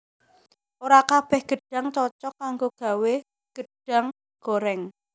Ora kabèh gedhang cocog kanggo gawé gedahng gorèng